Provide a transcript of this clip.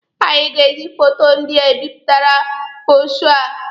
Anyị ga-eji foto ndị a ebipụta bụrọshoo a.